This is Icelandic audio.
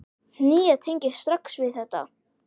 Nína tengir strax við þetta.